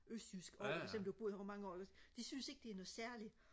østjysk over selvom du har boet herovre i mange år ikke også de synes ikke det er noget særligt